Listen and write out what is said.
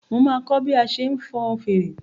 Máa kọ́ bí a ṣe ń fọn fèrè.